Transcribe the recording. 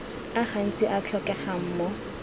a gantsi a tlhokegang mo